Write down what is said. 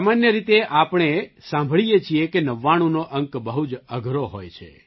સામાન્ય રીતે આપણે આપણે સાંભળીએ છીએ કે નવાણુંનો અંક બહુ જ અઘરો હોય છે